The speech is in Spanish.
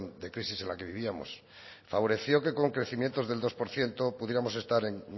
de crisis en la que vivíamos favoreció que con crecimientos del dos por ciento pudiéramos estar en